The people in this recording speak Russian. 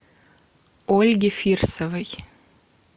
ольге фирсовой